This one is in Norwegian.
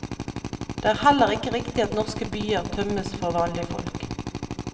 Det er heller ikke riktig at norske byer tømmes for vanlig folk.